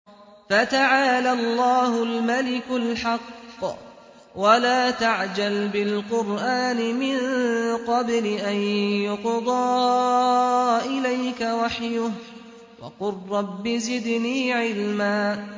فَتَعَالَى اللَّهُ الْمَلِكُ الْحَقُّ ۗ وَلَا تَعْجَلْ بِالْقُرْآنِ مِن قَبْلِ أَن يُقْضَىٰ إِلَيْكَ وَحْيُهُ ۖ وَقُل رَّبِّ زِدْنِي عِلْمًا